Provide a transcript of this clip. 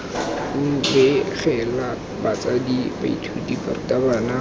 u begela batsadi baithuti barutabana